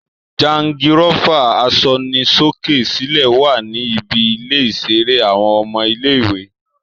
Jangirófà asọnisókè-sílẹ̀ wá ní ibi ilè iṣere àwọn ọmọ ilé-ìwé